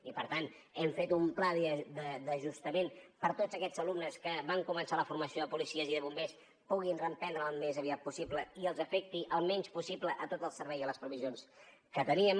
i per tant hem fet un pla d’ajustament perquè tots aquests alumnes que van començar la formació de policies i de bombers puguin reprendrela al més aviat possible i els afecti el menys possible a tot el servei i a les provisions que teníem